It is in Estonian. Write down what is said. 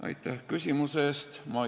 Aitäh küsimuse eest!